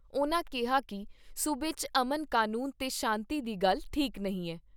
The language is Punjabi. ਉਨ੍ਹਾਂ ਕਿਹਾ ਕਿ ਸੂਬੇ 'ਚ ਅਮਨ ਕਾਨੂੰਨ ਤੇ ਸ਼ਾਂਤੀ ਦੀ ਗੱਲ ਠੀਕ ਨਹੀਂ ਐ।